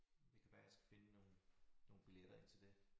Det kan være jeg skal finde nogle nogle biletter ind til det